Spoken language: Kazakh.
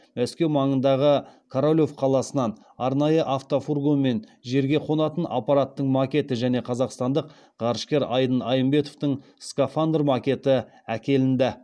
мәскеу маңындағы королев қаласынан арнайы автофургонмен жерге қонатын аппараттың макеті және қазақстандық ғарышкер айдын айымбетовтің скафандр макеті әкелінді